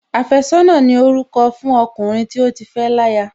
Àfẹ́sọ́nà ni orúkọ fún ọkùnrin tí ó ti fẹ́ láya